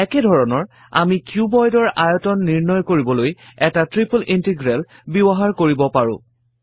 একেধৰণে আমি cuboid ৰ আয়তন নিৰ্ণয় কৰিবলৈ এটা ট্ৰিপল ইন্টিগ্ৰেল ব্যৱহাৰ কৰিব পাৰো